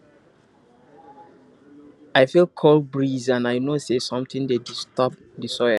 i feel cold breeze and i know say something dey disturb di soil